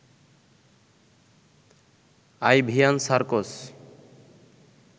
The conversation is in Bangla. আইভিয়ান সার্কোজ